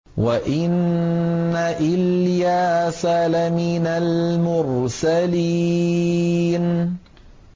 وَإِنَّ إِلْيَاسَ لَمِنَ الْمُرْسَلِينَ